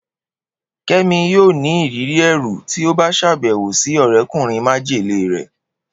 Kemi yoo ni iriri ẹru ti o ba ṣabẹwo si ọrẹkunrin majele rẹ